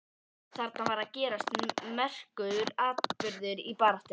Þarna var að gerast merkur atburður í baráttunni.